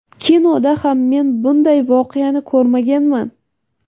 kinoda ham men bunday voqeani ko‘rmaganman.